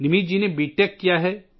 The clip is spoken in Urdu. نمت جی نے بی ٹیک کیا ہے